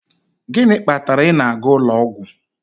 Gịnị kpatara ị na-aga ụlọ ọgwụ?